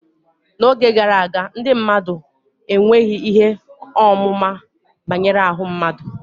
n'oge gara aga, ndị mmadụ enweghị ihe ọmụma banyere ahụ mmadụ